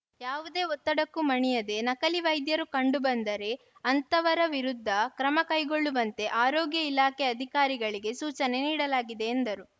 ಯಾವುದೇ ಒತ್ತಡಕ್ಕೂ ಮಣಿಯದೆ ನಕಲಿ ವೈದ್ಯರು ಕಂಡು ಬಂದರೆ ಅಂತವರ ವಿರುದ್ಧ ಕ್ರಮ ಕೈಗೊಳ್ಳುವಂತೆ ಆರೋಗ್ಯ ಇಲಾಖೆ ಅಧಿಕಾರಿಗಳಿಗೆ ಸೂಚನೆ ನೀಡಲಾಗಿದೆ ಎಂದರು